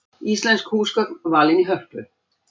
Íslensk húsgögn valin í Hörpu